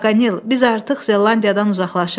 Paqanel, biz artıq Zelandiyadan uzaqlaşırıq.